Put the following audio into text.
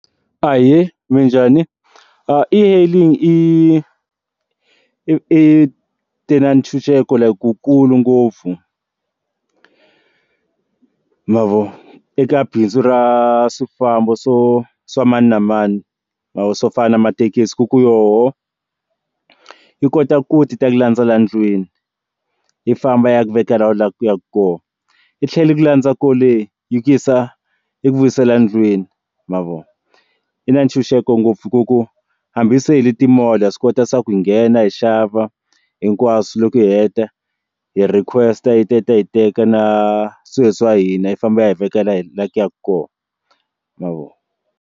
Ahee, minjhani? e-hailing i i ti na ntshunxeko like ku kulu ngopfu ma vo eka bindzu ra swifambo swa mani na mani mavoko swofana mathekisi ku ku yoho yi kota ku ti ta ku landzela ndlwini yi famba ya ku vekela u la ku ya ka kona yi tlhele ku landza kole yi ku yisa i ku vuyisela ndlwini ma vona i na ntshunxeko ngopfu ku ku hambi se hi le timall swi kota swa ku nghena hi xava hinkwaswo loko hi heta hi requesta yi ta yi hi teka na swilo leswi wa hina yi famba yi veka la hi la ku ya ka kona ma vo.